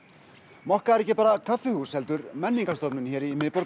mokka er ekki bara kaffihús heldur menningarmiðstöð hérna í miðborg